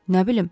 Nə bilim.